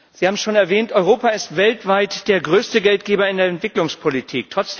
Sie haben schon erwähnt Europa ist weltweit der größte Geldgeber in der Entwicklungspolitik.